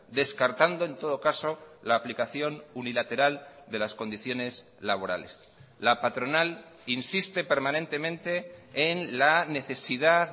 descartando en todo caso la aplicación unilateral de las condiciones laborales la patronal insiste permanentemente en la necesidad